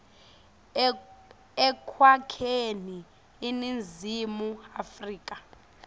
ekwakheni iningizimu afrika